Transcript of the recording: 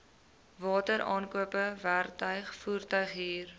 wateraankope werktuig voertuighuur